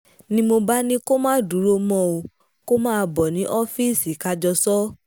ni mo bá ní kó má dúró mọ́ o kó máa bọ̀ ní ọ́ọ́fíìsì ká jọ sọ ọ́